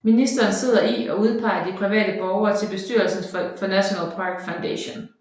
Ministeren sidder i og udpeger de private borgere til bestyrelsen for National Park Foundation